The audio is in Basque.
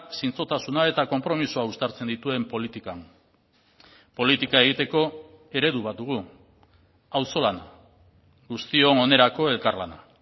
zintzotasuna eta konpromisoa uztartzen dituen politikan politika egiteko eredu bat dugu auzolana guztion onerako elkarlana